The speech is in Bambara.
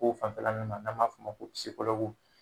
O fanfɛla nunnu na n'an b'a f'o ma ko pisikolɔguw